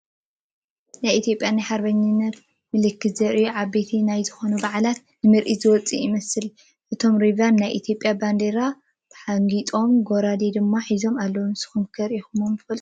ናይ ኢ/ያ ናይ ሓርበኝነት ምልክት ዘርእዩ ዓብይ ኣብ ዝኾነ በዓል ንምርኢት ዝወፁ ይመስሉ፡፡ እቶም ሪቫን ናይ ኢ/ያ ባንዴራ ተሓንጊጦምን ጉራደ ድማ ሒዞምን ኣለው፡፡ ንስኹም ከ ሪኢኹም ዶ ትፈልጡ?